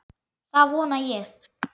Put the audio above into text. Það vona ég